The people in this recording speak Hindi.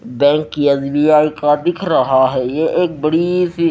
बैंक एस_बी_आई का दिख रहा है ये एक बड़ी सी--